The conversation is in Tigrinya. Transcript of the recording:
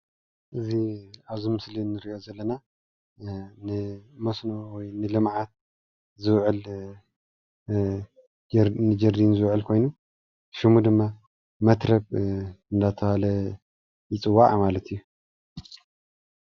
እዚ ኣብዚ ምስሊ እንሪኦ ዘለና ንመስኖ ወይ ንልምዓት ዝውዕል ንጀርዲን ዝውዕል ኾይኑ ስሙ ድማ መትረብ እናተበሃለ ይፅዋዕ ማለት እዩ።